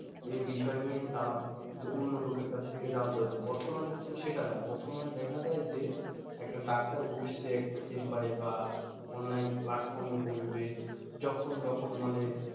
এই বিষয়ে নিয়ে অন্য লোকের কাছ থেকে জানতে হত বর্তমানে কিন্তু সেটা নেই বর্তমানে দেখা যায় যে একটা doctor বসছে একটা chamber বা online platform এ বসবে যখন তখন মানে